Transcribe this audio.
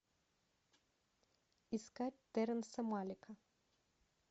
искать терренса малика